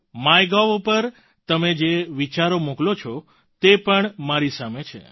MyGov પર તમે જે વિચારો મોકલો છો તે પણ મારી સામે છે